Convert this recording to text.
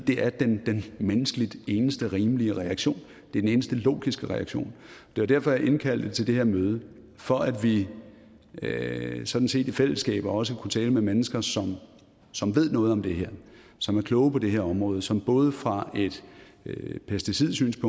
er den menneskeligt eneste rimelige reaktion det er den eneste logiske reaktion det var derfor jeg indkaldte til det her møde for at vi sådan set i fællesskab også kunne tale med mennesker som som ved noget om det her som er kloge på det her område og som både fra et pesticidmæssigt